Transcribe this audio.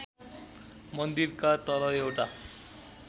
मन्दिरका तल एउटा